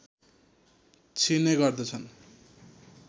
छिर्ने गर्दछन्